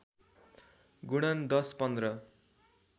गुणन १० १५